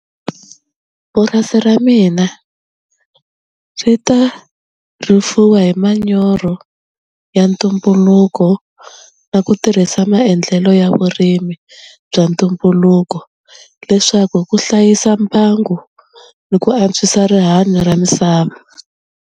Purasi ra mina swi ta rifuwo hi manyoro ya ntumbuluko na ku tirhisa maendlelo ya vurimi bya ntumbuluko leswaku hi ku hlayisa mbangu ni ku antswisa rihanyo ra misava.